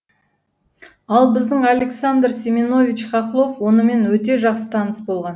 ал біздің александр семенович хохлов онымен өте жақсы таныс болған